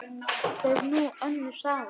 Það er nú önnur saga.